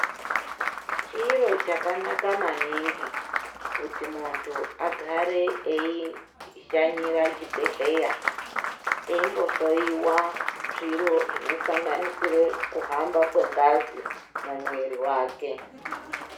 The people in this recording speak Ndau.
Chiro chakanaka maningi, kuti muntu agare eishanyira chibhedhleya ,eimbohloiwa, zviro zvinosanganisire kuhamba kwengazi ,mumwiiri wake.